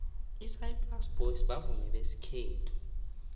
isaplasi boys bavumi besikhethu